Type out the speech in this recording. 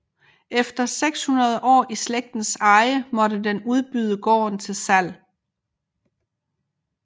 Efter 600 år i slægtens eje måtte den udbyde gården til salg